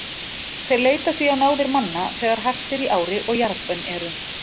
Þeir leita því á náðir manna þegar hart er í ári og jarðbönn eru.